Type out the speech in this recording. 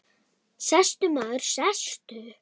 Sestu, maður, sestu.